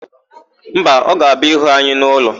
Mba, ọ ga-abịa ịhụ anyị n'ụlọ.